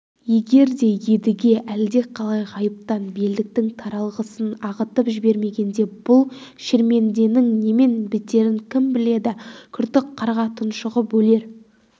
егер де едіге әлдеқалай ғайыптан белдіктің таралғысын ағытып жібермегенде бұл шерменденің немен бітерін кім біледі күртік қарға тұншығып өлер